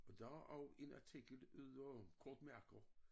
Og der er også en artikel derude om kortmærker